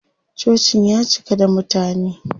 Cocin ya cika da mutane.